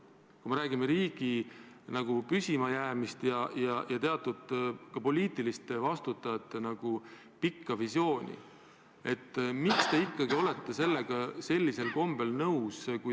Kui me räägime riigi püsimajäämisest ja poliitikutest vastutajate pikast visioonist, siis miks te ikka olete sellega nõus?